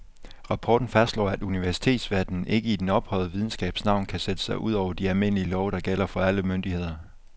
Rapporten fastslår, at universitetsverdenen ikke i den ophøjede videnskabs navn kan sætte sig ud over de almindelige love, der gælder for alle myndigheder.